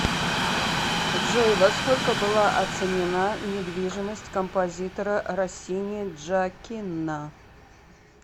джой во сколько была оценена недвижимость композитора россини джоаккино